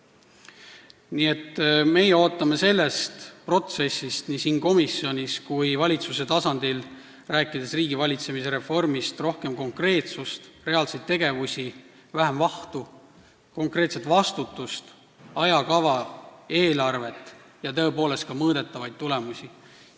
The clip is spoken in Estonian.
Nii et meie ootame sellest protsessist, rääkides riigivalitsemise reformist, nii komisjonis kui ka valitsuse tasandil rohkem konkreetsust, reaalseid tegevusi, vähem vahtu, konkreetset vastutust, ajakava, eelarvet ja tõepoolest ka mõõdetavaid tulemusi.